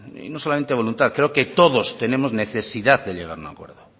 y no solamente voluntad creo que todos tenemos necesidad de llegar a un acuerdo